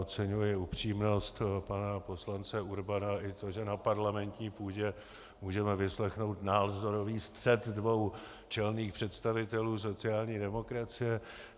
Oceňuji upřímnost pana poslance Urbana i to, že na parlamentní půdě můžeme vyslechnout názorový střet dvou čelných představitelů sociální demokracie.